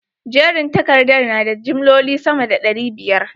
Jerin takardar na da jimloli sama da ɗari biyar?